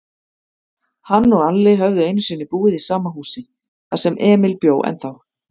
Hann og Alli höfðu einusinni búið í sama húsi, þar sem Emil bjó ennþá.